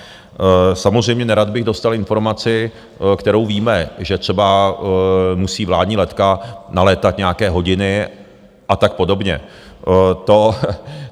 Samozřejmě nerad bych dostal informaci, kterou víme, že třeba musí vládní letka nalétat nějaké hodiny a tak podobně.